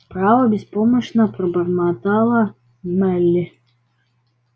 право беспомощно пробормотала мелли